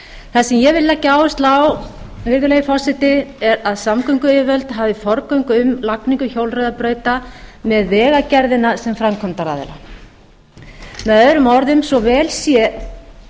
það sem ég vil leggja áherslu á virðulegi forseti er að samgönguyfirvöld hafi forgöngu um lagningu hjólreiðabrauta með vegagerðina sem framkvæmdaraðila möo svo vel sé